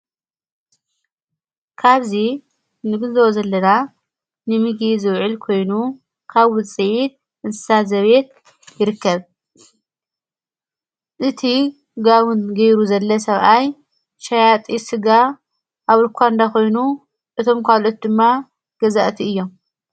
ካብዚ ንግዘወ ዘለና ንሚጊ ዘውዒል ኮይኑ ካ ዊ ጽይድ እንሳ ዘቤየት ይርከብ እቲ ጋውን ገይሩ ዘለ ሰብኣይ ሻያጢ ሥጋ ኣብ ርእኳ እንዳኾይኑ እቶም ኳልት ድማ ገዛእቲ እዮም።